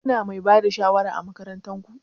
Kuna Mai Bada shawara ã makarantan ku?